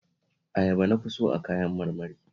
Ayaba na fi so a kayan marmari